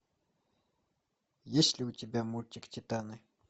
есть ли у тебя мультик титаны